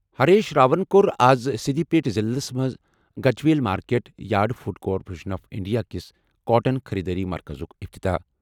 ہریش راون کوٚر آز سِدھی پیٹ ضِلعس منٛز Gajwel market yard Food Corporation of India کِس کاٹن خٔریٖدٲری مرکزُک افتتاح ۔